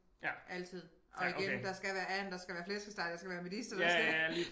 Altid og igen der skal være and der skal være flæskesteg der skal være medister der skal